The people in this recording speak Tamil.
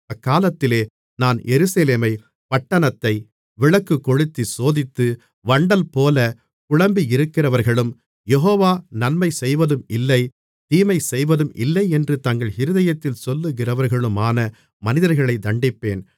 அக்காலத்திலே நான் எருசலேமைப் பட்டணத்தை விளக்குக்கொளுத்திச் சோதித்து வண்டல்போலக் குழம்பியிருக்கிறவர்களும் யெகோவா நன்மை செய்வதும் இல்லை தீமைசெய்வதும் இல்லையென்று தங்கள் இருதயத்தில் சொல்லுகிறவர்களுமான மனிதர்களைத் தண்டிப்பேன்